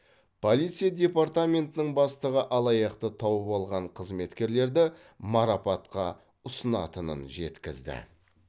полиция департаментінің бастығы алаяқты тауып алған қызметкерлерді марапатқа ұсынатынын жеткізді